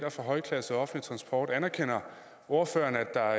fra højklasset offentlig transport anerkender ordføreren at der